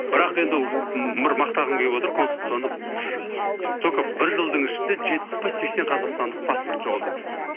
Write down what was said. бірақ енді ыыы мақтағым келіп отыр консульствоны только бір жылдың ішінде жетпіс пе сексен қазақстандық паспорт жоғалтады екен